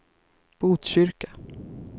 Botkyrka